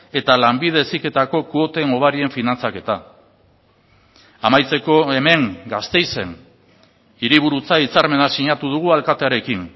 eta lanbide heziketako kuoten hobarien finantzaketa amaitzeko hemen gasteizen hiriburutza hitzarmena sinatu dugu alkatearekin